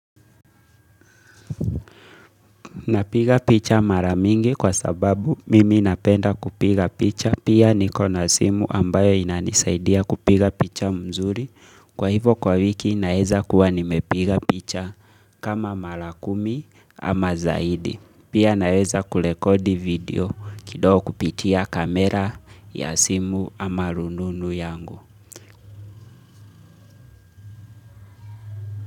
Napiga picha mara mingi kwa sababu mimi napenda kupiga picha. Pia nikona simu ambayo inanisaidia kupiga picha mzuri. Kwa hivyo kwa wiki naweza kuwa nimepiga picha kama mara kumi ama zaidi. Pia naeza kurekodi video kidogo kupitia kamera ya simu ama rununu yangu.